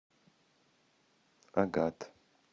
агат